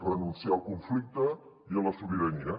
renunciar al conflicte i a la sobirania